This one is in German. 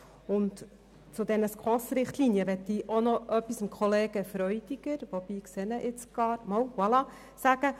Zu den SKOS-Richtlinien möchte ich noch etwas zu Kollege Freudiger sagen, wobei ich ihn jetzt gar nicht im Saal sehe.